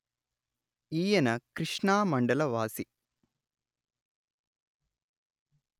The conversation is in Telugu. ఈయన కృష్ణా మండల వాసి